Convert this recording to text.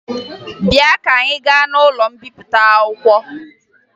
Bịa ka anyị gaa n'ụlọ mbipụta akwụkwọ